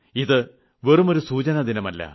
ഇത് വെറുമൊരു സൂചനാദിനമല്ല